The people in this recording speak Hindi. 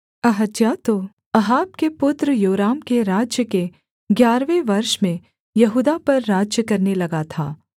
अहज्याह तो अहाब के पुत्र योराम के राज्य के ग्यारहवें वर्ष में यहूदा पर राज्य करने लगा था